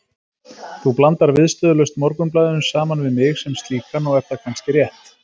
Þú blandar viðstöðulaust Morgunblaðinu saman við mig sem slíkan og er það kannski rétt.